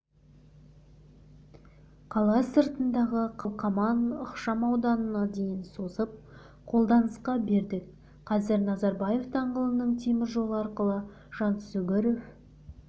қала сыртындағы қалқаман ықшам ауданына дейін созып қолданысқа бердік қазір назарбаев даңғылының теміржолы арқылы жансүгіров